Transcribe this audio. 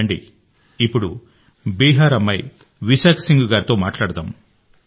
రండి ఇప్పుడు బీహార్ అమ్మాయి విశాఖ సింగ్ గారితో మాట్లాడదాం